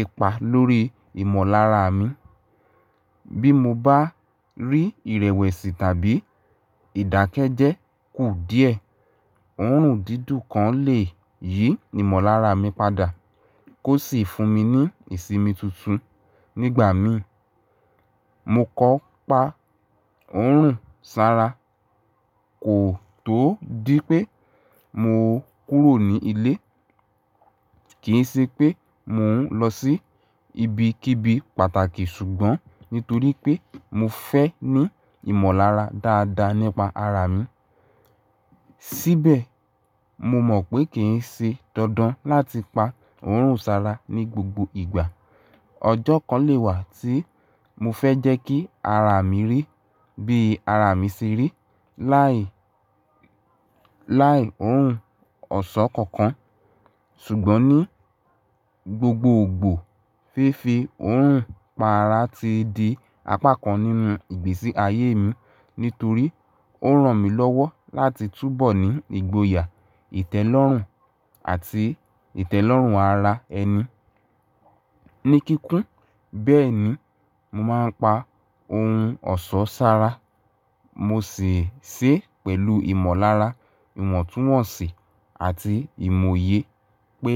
ipa lórí ìmọ̀lára mi. Bí mo bá rí ìrẹ̀wẹ̀sì tàbí ìdákẹ́jẹ́ kú díẹ̀, òórùn dídùn kan lè yí ìmọ̀lára mi padà kó sì fún mi ní ìsimi tuntun nígbà mi. Mo kò pa òórùn sára, kò tó dí pé mo kúrò ní ilé. Kì í ṣe pé mò ń lọ sí ibi kí'bi pàtàkì, ṣùgbọ́n nítorí pé mo fẹ́ ní ìmọ̀lára dáadáa nípa ara mi. Síbẹ̀, mo mọ̀ pé kì í ṣe dandan láti pa òórùn sára ní gbogbo ìgbà. Ọjọ́ kan lè wà tí mo fẹ́ jẹ́ kí ara mi rí bí ara mi ṣe rí láì, láì òórùn ọ̀ṣọ́ kankan. Ṣùgbọ́n ní gbogbo ògbò, fífi òórùn pa ara ti di apá kan nínú ìgbésí ayé mi nítorí ó ràn mí lọ́wọ́ láti túbọ̀ ní ìgboyà, ìtẹ́lọ́rùn àti ìtẹ́lọ́rùn ara ẹni ní kíkún. Bẹ́ẹ̀ ni, mo máa ń pa ohun ọ̀ṣọ́ sára. Mo sì ń ṣe é pẹ̀lú ìmọ̀lára, ìwọ̀ntúnwọ̀nsì àti ìmòye pé.